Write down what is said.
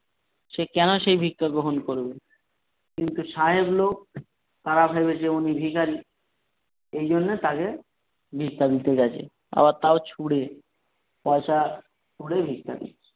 সে কেন সে ভিক্ষা গ্রহণ করবে কিন্তু সাহেব লোক তারা ভেবেছে উনি ভিখারি এইজন্য তাকে ভিক্ষা দিতে গেছে আবার তাও ছুড়ে পয়সা ছুড়ে ভিক্ষা দিচ্ছে ।